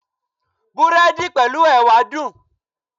Búrẹ́dì pẹ̀lú Ẹ̀wà dùn.